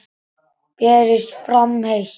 Berist fram heitt.